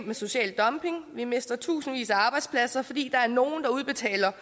med social dumping vi mister tusindvis af arbejdspladser fordi der er nogle der udbetaler